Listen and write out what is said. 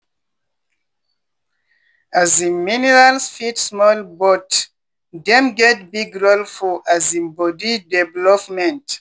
um minerals fit small but dem get big role for um body development.